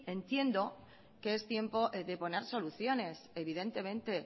entiendo que es tiempo de poner soluciones evidentemente